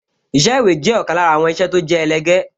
Iṣẹ́ ìwé jẹ́ ọ̀kan lára àwọn iṣẹ́ tó jẹ́ ẹlẹgẹ́